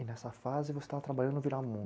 E nessa fase você estava trabalhando no